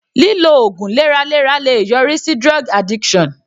Lílo ògùn lẹ́ra lẹ́ra le yọrí sí drug addiction.